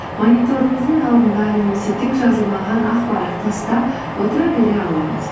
мониторымыздың алдында немесе түк жазылмаған ақ парақты ұстап отыра бере аламыз